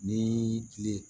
Ni kile